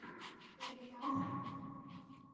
Þakka þér fyrir það.